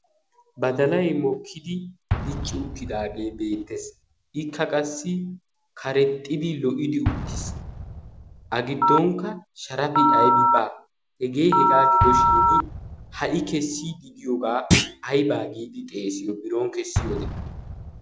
badalay mokkidi dicci uttidaagee beettees ikka qassi karexxidi lo''idi uttiis a giddonkka sharafi aybi baa hegee hegaa gidoshin ha''i kessi di giyoogaa aibaa giidi xeesiyo biron kessi ode